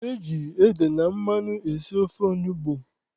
Eji ede na mmanụ esi ofe onugbu.